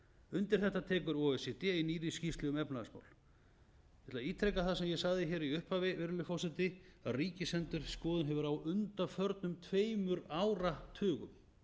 undir þetta tekur o e c d í nýrri skýrslu um efnahagsmál ég ætla að ítreka það sem ég sagði í upphafi virðulegi forseti að ríkisendurskoðun hefur á undanförnum tveimur áratugum